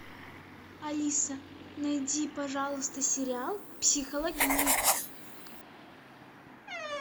алиса найди пожалуйста сериал психологини